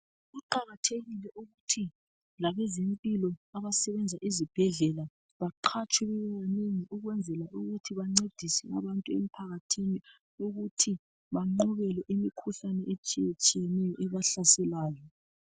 Kuqakathekile ukuthi labezempilo abasebenza ezibhedlela baqhatswhe bebanengi ukwenzela ukuthi bencedise abantu emphakathini ukuthi bagqobele imikhuhlane etshiye tshiyeneyo ebahlaselayo